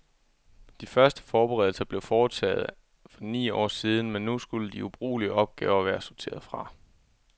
De første forberedelser blev foretaget for ni år siden, men nu skulle de ubrugelige opgaver være sorteret fra.